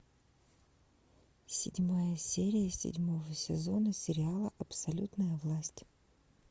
седьмая серия седьмого сезона сериала абсолютная власть